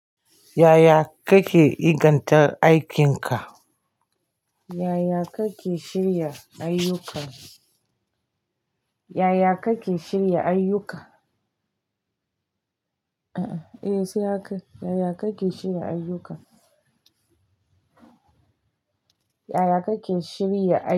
Yaya kake inganta aikinka? Yaya kake shirya ayyukanka? Yaya kake shirya ayyuka? Eh sai haka, yaya kake shirya ayyukanka? Yaya kake shirya a.